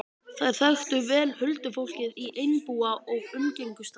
Þær þekktu vel huldufólkið í Einbúa og umgengust það.